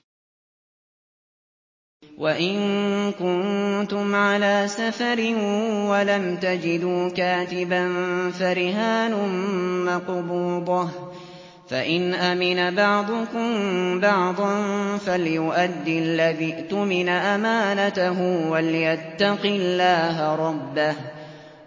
۞ وَإِن كُنتُمْ عَلَىٰ سَفَرٍ وَلَمْ تَجِدُوا كَاتِبًا فَرِهَانٌ مَّقْبُوضَةٌ ۖ فَإِنْ أَمِنَ بَعْضُكُم بَعْضًا فَلْيُؤَدِّ الَّذِي اؤْتُمِنَ أَمَانَتَهُ وَلْيَتَّقِ اللَّهَ رَبَّهُ ۗ